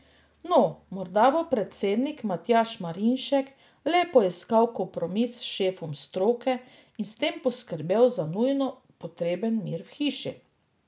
No, morda bo predsednik Matjaž Marinšek le poiskal kompromis s šefom stroke in s tem poskrbel za nujno potreben mir v hiši.